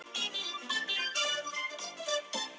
Hvað hefurðu helst í huga þegar þú velur föt?